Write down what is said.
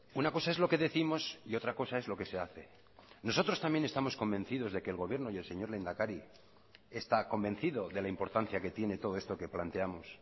una cosa es lo que décimos y otra cosa es lo que se hace nosotros también estamos convencidos de que el gobierno y el señor lehendakari está convencido de la importancia que tiene todo esto que planteamos